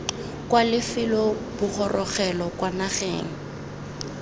kwa lefelo bogorogelo kwa nageng